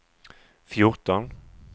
fjorton